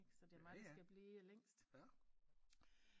Ikke så det er mig der skal blive længst